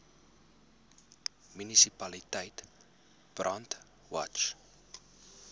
munisipaliteit brandwatch